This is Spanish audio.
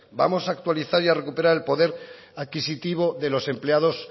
vamos a actualizar y a recuperar el poder adquisitivo de los empleados